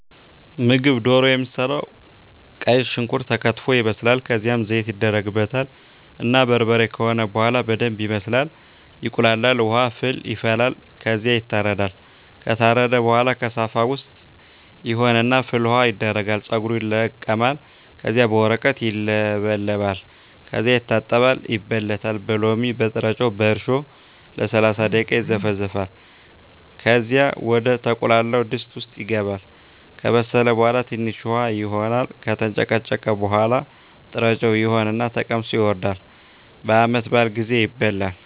ምግብ ደሮ የሚሰራዉ ቀይ ሽንኩርት ተከትፎ ይበስላል ከዝያም ዘይት ይደረግበታል እና በርበሬ ከሆነ በሆላ በደንብ ይበስላል ይቁላላል። ዉሀ ፍል ይፈላል ከዝያ ይታረዳል። ከታረደ በሆላ ከሳፋ ዉስጥ ይሆን እና ፍል ዉሀዉ ይደረጋል ፀጉሩ ይለቀማል ከዚያ በወረቀት ይለበለጣል ከዚያ ይታጠባል ይበለታል በሎሚ፣ በጥሮጮ፣ በእርሾ ለሰላሳ ደቂቃ ይዘፈዘፋል ከዚያ ወደ ተቁላላዉ ድስት ዉስጥ ይገባል። ከበሰለ በሆላ ትንሽ ዉሀ ይሆን እና ከተንጨቀጨቀ በሆላ ጥሮጮ ይሆን እና ተቀምሶ ይወርዳል። በዓመት በአል ጊዜ ይበላል።